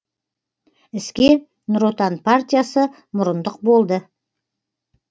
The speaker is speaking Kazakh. іске нұр отан партиясы мұрындық болды